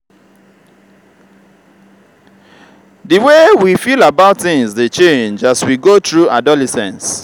di way we feel about things dey change as we go through adolescence.